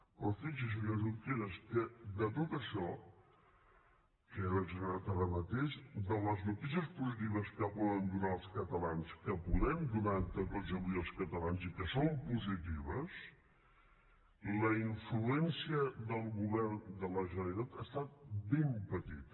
però fixi’s senyor junqueras que de tot això que he desgranat ara mateix de les noticies positives que poden donar als catalans que podem donar entre tots avui als catalans i que són positives la influència del govern de la generalitat ha estat ben petita